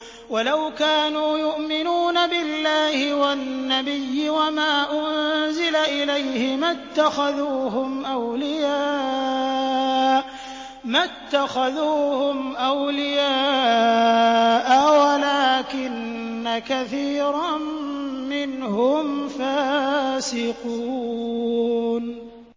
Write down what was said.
وَلَوْ كَانُوا يُؤْمِنُونَ بِاللَّهِ وَالنَّبِيِّ وَمَا أُنزِلَ إِلَيْهِ مَا اتَّخَذُوهُمْ أَوْلِيَاءَ وَلَٰكِنَّ كَثِيرًا مِّنْهُمْ فَاسِقُونَ